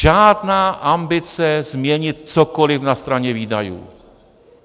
Žádná ambice změnit cokoli na straně výdajů.